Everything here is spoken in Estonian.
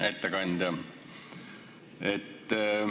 Hea ettekandja!